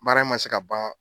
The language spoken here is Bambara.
Baara in ma se ka ban